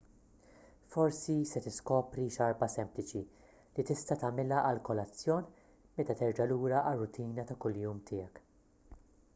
forsi se tiskopri xarba sempliċi li tista' tagħmilha għall-kolazzjon meta terġa' lura għar-rutina ta' kuljum tiegħek